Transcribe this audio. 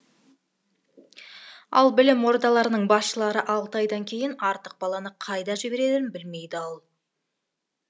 ал білім ордаларының басшылары алты айдан кейін артық баланы қайда жіберерін білмей дал